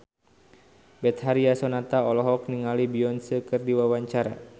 Betharia Sonata olohok ningali Beyonce keur diwawancara